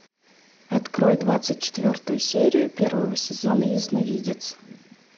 открой двадцать четвертую серию первого сезона ясновидец